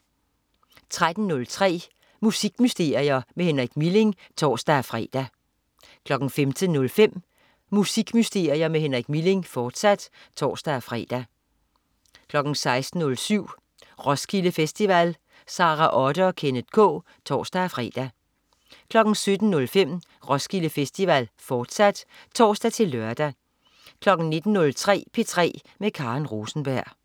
13.03 Musikmysterier med Henrik Milling (tors-fre) 15.05 Musikmysterier med Henrik Milling, fortsat (tors-fre) 16.07 Roskilde Festival. Sara Otte og Kenneth K (tors-fre) 17.05 Roskilde Festival, fortsat (tors-lør) 19.03 P3 med Karen Rosenberg